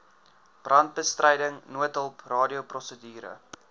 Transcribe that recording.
brandbestryding noodhulp radioprosedure